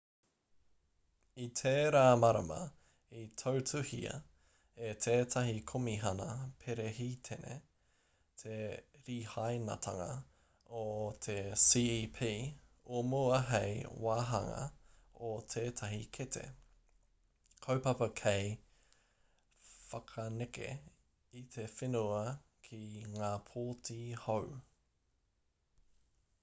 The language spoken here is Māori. i tērā marama i tautuhia e tētahi komihana perehitene te rihainatanga o te cep o mua hei wāhanga o tētahi kete kaupapa hei whakaneke i te whenua ki ngā pōti hou